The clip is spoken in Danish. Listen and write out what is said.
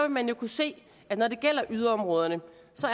man kunne se at når det gælder yderområderne